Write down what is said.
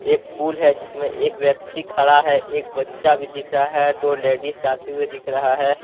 एक पुल है जिसमें एक व्यक्ति खड़ा है एक बच्चा भी दिख रहा है दो लेडीज जाते हुए दिख रहा है।